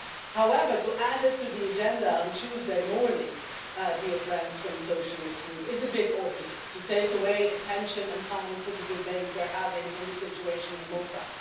However, to add it to the agenda on Tuesday morning, dear friends from the Socialist Group, is a bit obvious to take away attention and time from the debate we're having on the situation in Malta.